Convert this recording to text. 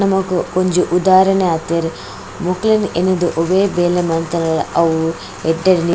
ನಮಕ್ ಒಂಜಿ ಉದಾಹರಣೆ ಆತೆರ್ ಮೊಕ್ಲೆನ್ ಎನ್ನುದು ಒವೆ ಬೇಲೆ ಮಲ್ತುಂಡಲ ಅವು ಎಡ್ಡೆ --